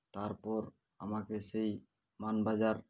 তারপর আমাকে সেই মানবাজার